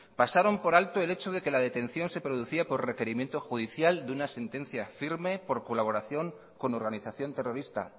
pasaron por alto el hecho de que la detención se producía por requerimiento judicial de una sentencia firme por colaboración con organización terrorista